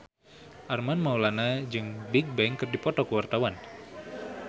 Armand Maulana jeung Bigbang keur dipoto ku wartawan